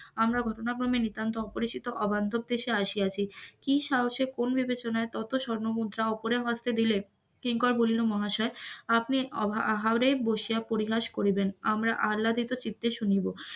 আমরা ঘটনাক্রমে নিতান্ত অপিরিচিত, অবান্তর দেশে আসিয়াছি, কি সাহসে কোন বিবেচনায় এত এত স্বর্ণমুদ্রা অপরের হাতে দিলে? কিঙ্কর বলিল মহাশয় আপনি অভা আহারে বসিয়া পরিহাস করিবেন আমরা আল্লহদিত চিত্তে শুনিব.